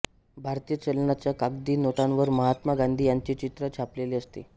भारतीय चलनाच्या कागदी नोटांवर महात्मा गांधी यांचे चित्र छापलेले असते